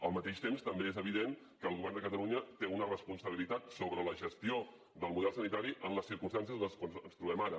al mateix temps també és evident que el govern de catalunya té una responsabilitat sobre la gestió del model sanitari en les circumstàncies en les quals ens trobem ara